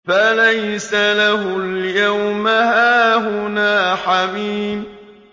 فَلَيْسَ لَهُ الْيَوْمَ هَاهُنَا حَمِيمٌ